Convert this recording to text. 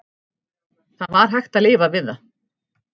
Það var hægt að lifa við það.